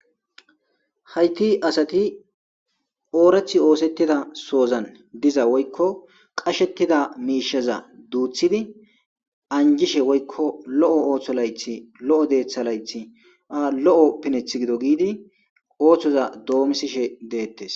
Hayti asati oorath oosettida soozan diza woykko qashettida miishaza duuthidi anjishe woykko lo7o ooththo layth lo7o deeththa layth a lo7o pineth gido giidi ooththoza doomisishe deettes..